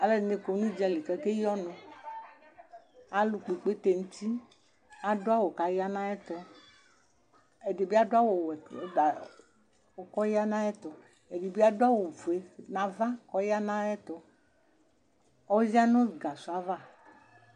Aluɛdini kɔ nu udzali ku akeyi ɔnu ku kepkpe adu awu ku ɔyanu ayɛtu ɛdibi adu awu wɛ ku ɔya nu ayɛtu ɛdibi adu awu ofue ku ɔya nu ayɛtu ɔya nu gasɔ ava